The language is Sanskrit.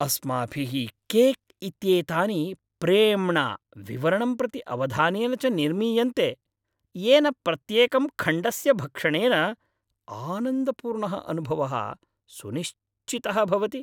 अस्माभिः केक् इत्येतानि प्रेम्णा, विवरणं प्रति अवधानेन च निर्मीयन्ते, येन प्रत्येकं खण्डस्य भक्षणेन आनन्दपूर्णः अनुभवः सुनिश्चितः भवति।